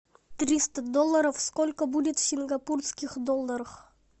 триста долларов сколько будет в сингапурских долларах